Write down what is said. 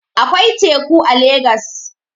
Akwai teku a legas